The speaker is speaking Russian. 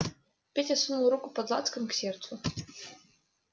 петя сунул руку под лацкан к сердцу